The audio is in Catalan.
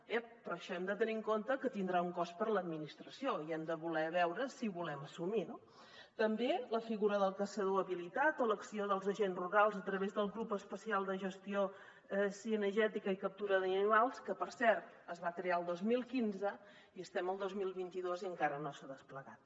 ep però això hem de tenir en compte que tindrà un cost per a l’administració i hem de voler veure si el volem assumir no també la figura del caçador habilitat o l’acció dels agents rurals a través del grup especial de gestió cinegètica i captura d’animals que per cert es va crear el dos mil quinze i estem al dos mil vint dos i encara no s’ha desplegat